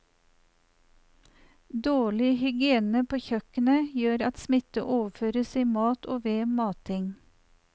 Dårlig hygiene på kjøkken gjør at smitte overføres i mat og ved mating.